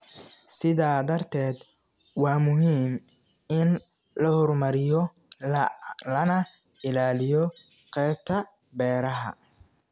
Sidaa darteed, waa muhiim in la horumariyo lana ilaaliyo qaybta beeraha.